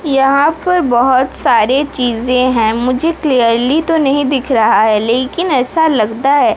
यहां पर बहुत सारे चीजें हैं मुझे क्लियरली तो नहीं दिख रहा है लेकिन ऐसा लगता है।